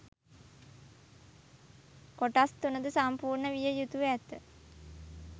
කොටස් තුනද සම්පූර්ණ විය යුතුව ඇත.